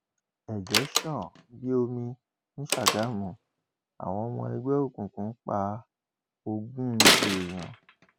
ẹjẹ sàn bíi omi ní sàgámù àwọn ọmọ ẹgbẹ òkùnkùn pa ogún èèyàn